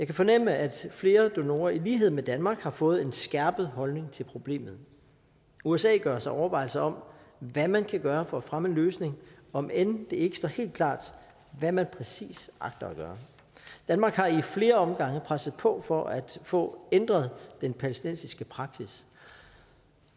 kan fornemme at flere donorer i lighed med danmark har fået en skærpet holdning til problemet usa gør sig overvejelser om hvad man kan gøre for at fremme en løsning om end det ikke står helt klart hvad man præcis agter at gøre danmark har i flere omgange presset på for at få ændret den palæstinensiske praksis